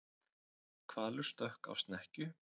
Hvalur stökk á snekkju